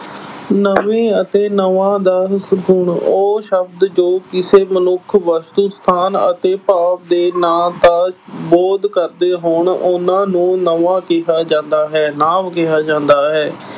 ਨਵੇਂ ਅਤੇ ਉਹ ਸ਼ਬਦ ਜੋ ਕਿਸੇ ਮਨੁੱਖ, ਵਸਤੂ, ਸਥਾਨ ਅਤੇ ਭਾਵ ਦੇ ਨਾਂ ਦਾ ਬੋਧ ਕਰਦੇ ਹੋਣ, ਉਨ੍ਹਾਂ ਨੂੰ ਨਵਾਂ ਕਿਹਾ ਜਾਂਦਾ ਹੈ, ਨਾਂਵ ਕਿਹਾ ਜਾਂਦਾ ਹੈ।